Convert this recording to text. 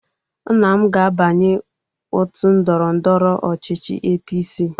Nna m ga-abanye ótù ndọrọ ndọrọ ọchịchị APC.